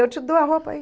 Eu te dou a roupa aí.